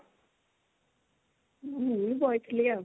ମୁଁ ବଇଥିଲି ଆଉ।